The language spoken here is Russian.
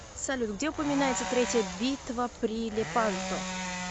салют где упоминается третья битва при лепанто